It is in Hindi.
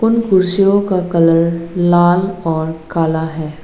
उन कुर्सियों का कलर लाल और काला है।